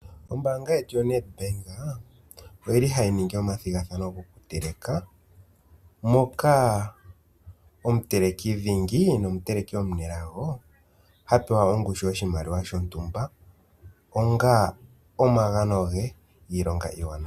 Ombaanga yetu yo NET Bank ohayi ningi omathigathano go ku teleka. Moka omuteleki dhingi nomuteleki omunelago. Ha sindana ongushu yoshimaliwa shontumba onga omagano ge giilonga iiwanawa.